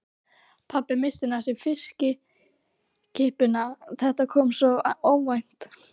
Pabbi missti næstum fiskkippuna, þetta kom svo óvænt.